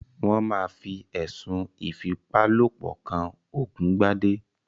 Wón máa fi ẹ̀sùn ìfipálopọ̀ kan Ògúngbadé